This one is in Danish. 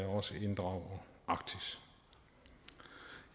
også inddrager arktis